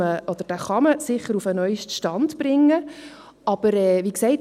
Diesen kann man sicher auf den neusten Stand bringen, aber wie gesagt: